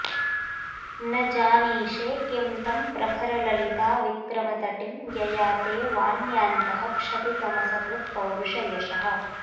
न जानीषे किं तं प्रखरललिताविक्रमतटिं यया ते वान्यान्तः क्षपितमसकृत्पौरुषयशः